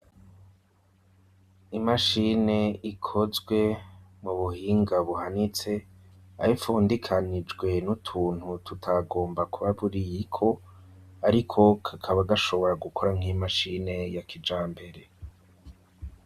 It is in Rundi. Imashine ikozwe mu buhinga buhanitse abipfundikanijwe n'utuntu tutagomba kuba buriyiko, ariko kakaba gashobora gukora nk'imashine ya kija mbere.